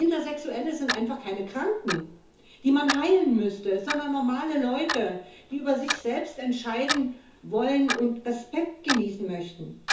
Intersexuelle sind einfach keine Kranken, die man heilen müsste, sondern normale Leute, die über sich selbst entscheiden wollen und Respekt genießen möchten.